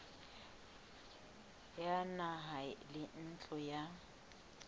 ya naha le ntlo ya